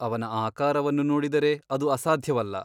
ಅವನ ಆಕಾರವನ್ನು ನೋಡಿದರೆ ಅದು ಅಸಾಧ್ಯವಲ್ಲ.